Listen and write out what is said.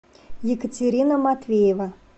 екатерина матвеева